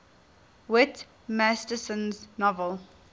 whit masterson's novel